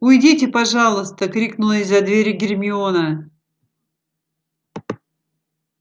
уйдите пожалуйста крикнула из-за двери гермиона